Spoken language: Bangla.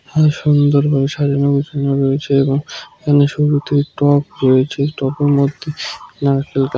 এখানে সুন্দরভাবে সাজানো গুছানো রয়েছে এবং এখানে সুন্দর একটি টব রয়েছে টবের মধ্যে একটি নারকেল গাছ।